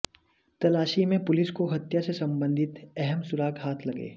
तलाशी में पुलिस को हत्या से संबंधित अहम सुराग हाथ लगे